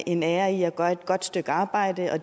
en ære i at gøre et godt stykke arbejde og